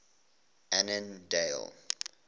annandale